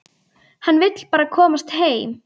Hann vill bara komast heim.